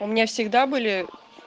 у меня всегда были